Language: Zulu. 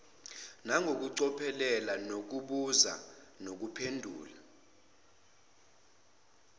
nangokucophelela nokubuza nokuphendula